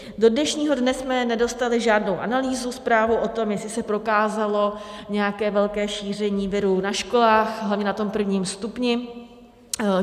Do dnešního dne jsme nedostali žádnou analýzu, zprávu o tom, jestli se prokázalo nějaké velké šíření viru na školách, hlavně na tom prvním stupni.